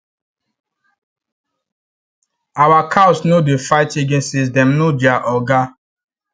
our cows no dey fight again since dem know their oga